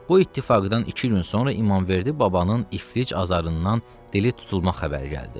Bu ittifaqdan iki gün sonra İmamverdi babanın iflic azarından dili tutulma xəbəri gəldi.